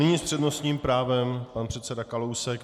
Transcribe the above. Nyní s přednostním právem pan předseda Kalousek.